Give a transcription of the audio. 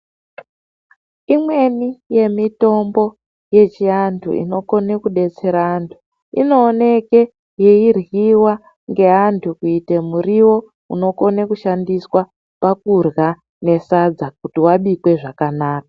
Imweni yemitombo yechiantu inokone kubetsere antu. Inoneke yeiryiva ngeantu kuite murivo unokone kushandiswa pakurya nesadza kuti vabikwe zvakanaka.